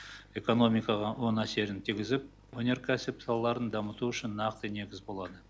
экономикаға оң әсерін тигізіп өнеркәсіп салаларын дамыту үшін нақты негіз болады